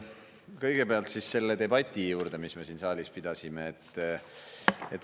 Kõigepealt selle debati juurde, mis me siin saalis pidasime.